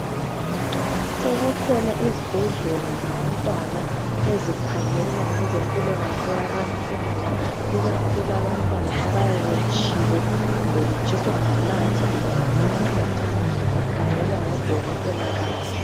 Sezikhona izibhedlela zabantwana ezikhangela ngezempilakahle yabantwana ikakhulu abantwana abayabe tshile kumbe betshiswa ngamanzi kumbe ngamafutha bakhangelwa ngodokotela babo